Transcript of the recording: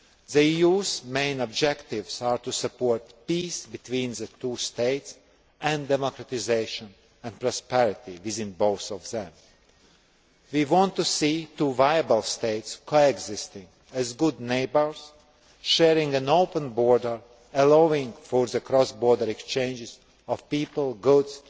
The EU's main objectives are to support peace between the two states and democratisation and prosperity within both of them. We want to see two viable states coexisting as good neighbours sharing an open border, allowing for cross border exchanges of people, goods,